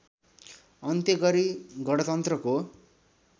अन्त्य गरी गणतन्त्रको